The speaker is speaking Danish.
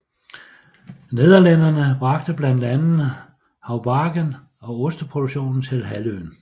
Nederlændere bragte blandt andet haubargen og osteproduktionen til halvøen